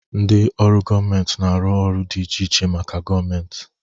Ndị ọrụ gọọmentị na-arụ ọrụ dị iche iche maka gọọmentị.